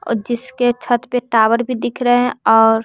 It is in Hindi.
जिसके छत पे टावर भी दिख रहे हैं और--